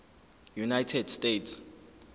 united states